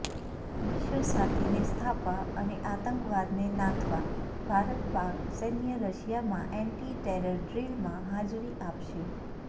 વિશ્વશાંતીને સ્થાપવા અને આતંકવાદને નાથવા ભારત પાક સૈન્ય રશિયામાં એન્ટી ટેરર ડ્રિલમાં હાજરી આપશે